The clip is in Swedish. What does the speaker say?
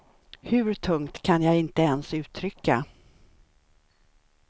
Hur tungt kan jag inte ens uttrycka.